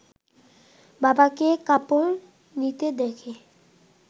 বাবাকে কাপড় নিতে দেখে